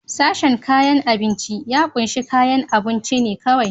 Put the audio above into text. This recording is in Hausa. Sashen kayan abinci ya kunshi kayan abunci ne kawai.